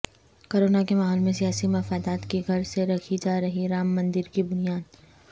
corona کے ماحول میں سیاسی مفادات کی غرض سے رکھی جارہی رام مندر کی بنیاد